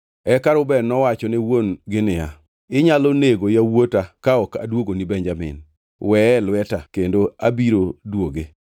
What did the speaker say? Eka Reuben nowacho ne wuon-gi niya, “Inyalo nego yawuota ka ok aduogoni Benjamin. Weye e lweta kendo abiro duoge.”